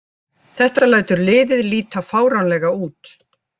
Þetta lætur liðið líta fáránlega út